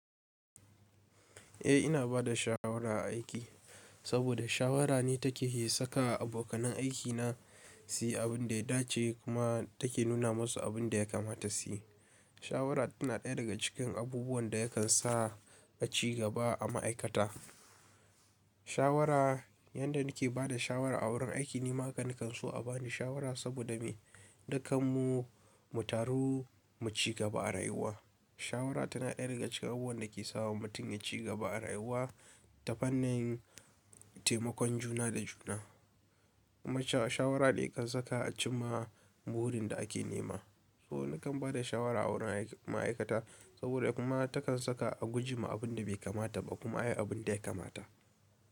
Eh ina bada shawara a aiki, saboda shawara ne take iya saka abokanai aikina su yi abin da ya dace kuma take nuna masu abin da ya kamata su yi. Shawara tana ɗaya daga cikin abubuwan da yakan sa a ci gaba a ma'aikata. Shawara, yadda nake bada shawara a wurin aiki nima haka nakan so a bani shawara saboda mu dukanmu mu taru mu ci gaba a rayuwa. Shawara tana ɗaya daga cikin abubuwan da ke sawa mutum ya ci gaba a rayuwa ta fannin taimakon juna da juna. Kuma shawara ne kan saka a cimma burin da ake nema. So nakan bada shawara a wurin ma'aikata saboda kuma takan saka a gujema abin da bai kamata ba kuma a yi abin da ya kamata.